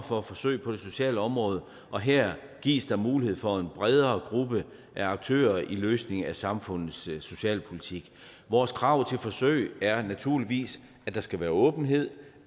for forsøg på det sociale område og her gives der mulighed for en bredere gruppe af aktører i løsningen af samfundets socialpolitik vores krav til forsøg er naturligvis at der skal være åbenhed